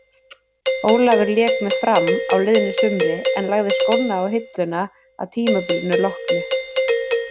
Ólafur lék með Fram á liðnu sumri en lagði skóna á hilluna að tímabilinu loknu.